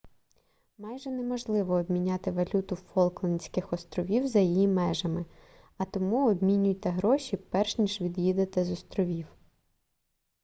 майже неможливо обміняти валюту фолклендських островів за їх межами а тому обмінюйте гроші перш ніж від'їдете з островів